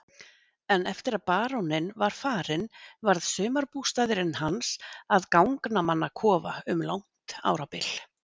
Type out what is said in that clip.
En eftir að baróninn var farinn varð sumarbústaðurinn hans að gangnamannakofa um langt árabil.